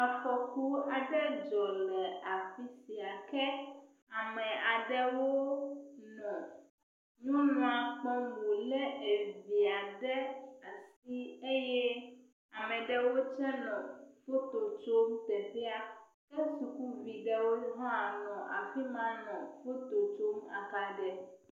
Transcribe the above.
Afɔku aɖe dzɔ le afi sia, kea me aɖewo nɔ nyɔnua kpɔm wòle evia ɖe asi eye ame ɖewo tsɛ nɔ moto dom teƒea. Ke sukuvi aɖewo hã nɔ afi ma nɔ moto dom…